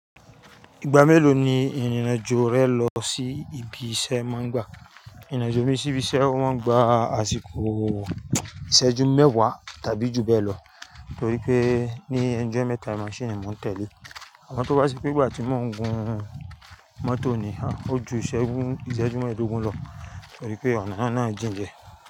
Ìgbà mélòó ni ìrìnàjò rẹ lọ sí ibi iṣẹ́ máa ń gba? Ìrìnàjò mi sí ibi iṣẹ́ o máa ń gba àsìkò ìṣẹ́jú mẹ́wàá tàbí ju bẹ́ẹ̀ lọ, torí pé ní ẹnu ijọ́mẹ́tá maṣínììn mo ń tẹ̀lé. Àmọ́ tó bá ṣì pé ìgbà tí mò ń gun mọ́tò ni, ó ju ìṣẹ́jú mẹ́ẹ̀ẹ́dógún lọ torí pé ọ̀nà náà jìn die.